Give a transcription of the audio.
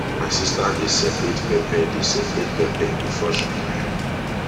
my sister dey separate pepper dey separate pepper before she tie am